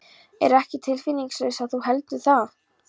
Ég er ekki tilfinningalaus ef þú heldur það.